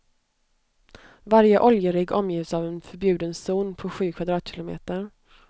Varje oljerigg omges av en förbjuden zon på sju kvadratkilometer.